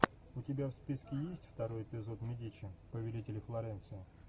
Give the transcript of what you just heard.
у тебя в списке есть второй эпизод медичи повелители флоренции